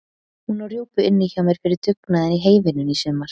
Hún á rjúpu inni hjá mér fyrir dugnaðinn í heyvinnunni í sumar.